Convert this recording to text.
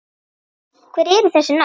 Hver eru þessu nöfn?